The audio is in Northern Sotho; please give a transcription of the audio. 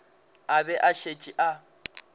a be a šetše a